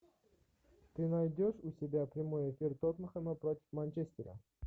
ты найдешь у себя прямой эфир тоттенхэма против манчестера